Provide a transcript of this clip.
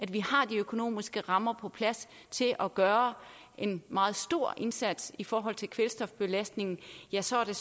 vi har de økonomiske rammer på plads til at gøre en meget stor indsats i forhold til kvælstofbelastningen ja så er